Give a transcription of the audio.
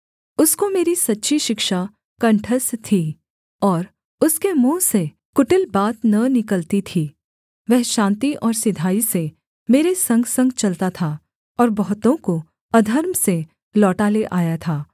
उसको मेरी सच्ची शिक्षा कण्ठस्थ थी और उसके मुँह से कुटिल बात न निकलती थी वह शान्ति और सिधाई से मेरे संगसंग चलता था और बहुतों को अधर्म से लौटा ले आया था